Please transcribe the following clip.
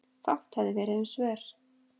Fátt hefði verið um svör.